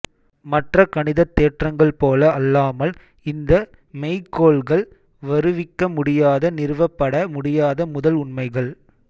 மற்ற கணிதத் தேற்றங்கள் போல அல்லாமல் இந்த மெய்க்கோள்கள் வருவிக்க முடியாத நிறுவப்பட முடியாத முதல் உண்மைகள்